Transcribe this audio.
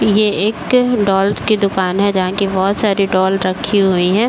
ये एक डॉल की दुकान है। जहाँ की बहोत सारी डॉल रखी हुई हैं।